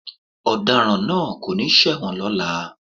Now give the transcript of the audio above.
Ọ̀daràn náà kò ní ṣẹ̀wọ̀n lọ́la.